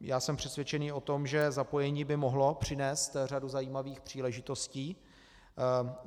Já jsem přesvědčený o tom, že zapojení by mohlo přinést řadu zajímavých příležitostí.